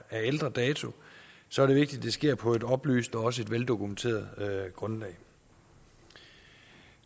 er af ældre dato så er det vigtigt at det sker på et oplyst og også et veldokumenteret grundlag